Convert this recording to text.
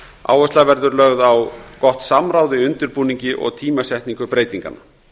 áhersla verður lögð á samráð í undirbúningi og tímasetningu breytinganna